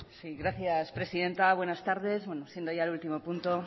sí gracias presidenta buenas tardes bueno siendo ya el último punto